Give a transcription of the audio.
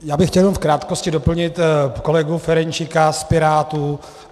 Já bych chtěl jenom v krátkosti doplnit kolegu Ferjenčíka z Pirátů.